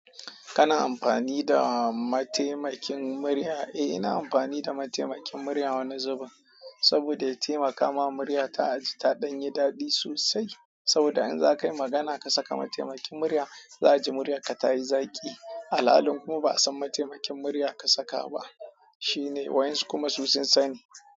Kana amfani da mataimakin murya? Eh, ina amfani da mataimakin murya wani zubin saboda ya taimaka ma murya ta aji ta ɗan yi daɗi sosai. Saboda in za ka yi magana ka saka mataimakin murya, za'a ji muryarka ta yi zaƙi. Al'alalin kuma ba'a san mataimakin murya ka saka ba shine wayansu kuma su sun sani.